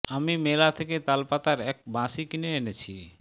আমি মেলা থেকে তাল পাতার এক বাঁশি কিনে এনেছি